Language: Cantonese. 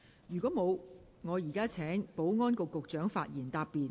如果沒有，我現在請保安局局長發言答辯。